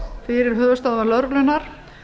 fyrir höfuðstöðvar lögreglunnar